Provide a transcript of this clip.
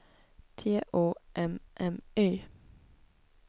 T O M M Y